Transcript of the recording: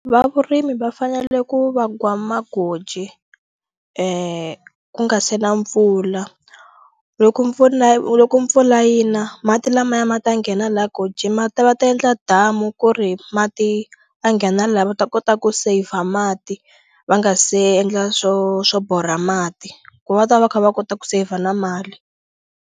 Va vurimi va fanele ku vagwa magoji ku nga se na mpfula loko mpfula loko mpfula yi na mati lamaya ma ta nghena la gojini ma ta va ta endla damu ku ri mati a nghena la va ta kota ku save mati va nga se endla swo swo borha mati ku va ta va kha va kota ku save na mali.